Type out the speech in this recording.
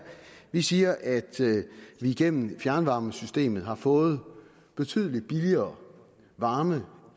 vi siger at vi igennem fjernvarmesystemet har fået betydelig billigere varme